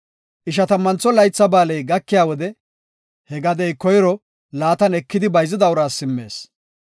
Ishatammantho Laytha Ba7aaley gakiya wode he gadey koyro laatan ekidi bayzida uraas simmees.